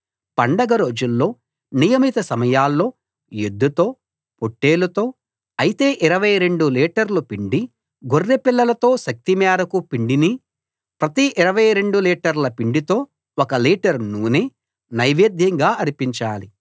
పండగ రోజుల్లో నియమిత సమయాల్లో ఎద్దుతో పొట్టేలుతో అయితే 22 లీటర్లు పిండి గొర్రెపిల్లలతో శక్తి మేరకు పిండిని ప్రతి 22 లీటర్ల పిండితో ఒక లీటర్ నూనె నైవేద్యంగా అర్పించాలి